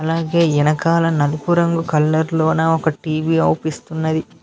అలాగే వెనకాల నలుపు రంగు కలర్ లోన ఒక టీ_వీ అవుపిస్తున్నది.